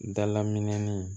Dala minɛn